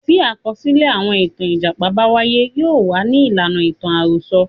Tí àkọsílẹ̀ àwọn ìtàn Ìjàpá bá wáyé. Yóò wà ní ìlànà ìtàn àròsọ.